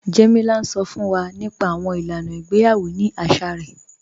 Jẹ́mílà ǹ sọ́ fún wà nípa àwọn ilànà ìgbèyawọ̀ ní àṣà rẹ̀